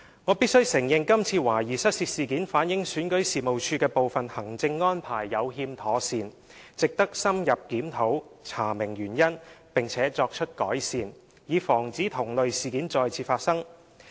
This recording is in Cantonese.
我必須承認這次懷疑失竊事件反映選舉事務處的部分行政安排有欠妥善，值得深入檢討、查明原因，並作出改善，以防止同類事件再次發生。